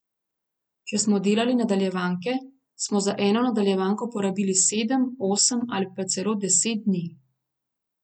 Če smo delali nadaljevanke, smo za eno nadaljevanko porabili sedem, osem ali pa celo deset dni.